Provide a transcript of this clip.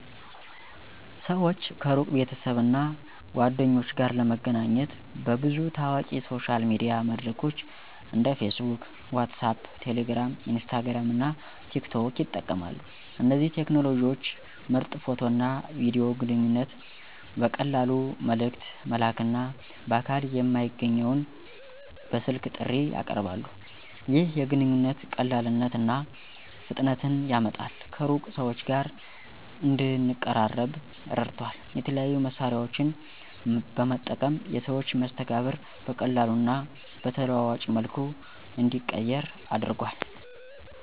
ሰዎች ከሩቅ ቤተሰብ እና ጓደኞች ጋር ለመገናኘት በብዙ ታዋቂ ሶሻል ሚዲያ መድረኮች እንደ Facebook WhatsApp Telegram, Instagram እና TikTok ይጠቀማሉ። እነዚህ ቴክኖሎጂዎች ምርጥ ፎቶ እና ቪዲዮ ግንኙነት ቨቀላሉ መልእክት መላክና በአካል የማይገኘውን በስልክ ጥሪ ያቀርባሉ። ይህ የግንኙነት ቀላልነት እና ፍጥነትን ያመጣል ከሩቅ ሰዎች ጋር እንደንቀራረበ ረድቷል። የተለያዩ መሳሪያዎን በመጠቀም የሰዎች መስተጋብር በቀላሉ እና በተለዋዋጭ መልኩ እንዲቀየር አድርጓል።